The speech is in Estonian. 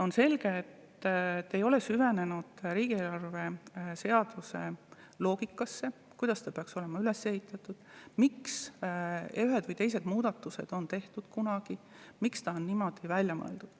On selge, et te ei ole süvenenud riigieelarve seaduse loogikasse, kuidas see peaks olema üles ehitatud, miks ühed või teised muudatused on kunagi tehtud ja miks ta niimoodi on välja mõeldud.